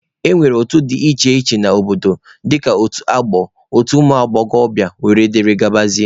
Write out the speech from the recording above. E nwere otu dị iche iche n'obodo dịka otu ọgbọ, otu ụmụ agbọghọbịa wdg.